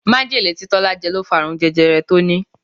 Majele tí Tọ́lá jẹ ló fa àrùn jẹjẹrẹ tó ní.